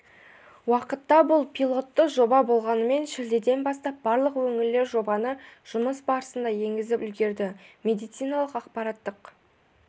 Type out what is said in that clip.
уақытта бұл пилотты жоба болғанымен шілдеден бастап барлық өңірлер жобаны жұмыс барысында енгізіп үлгерді медициналық-ақпараттық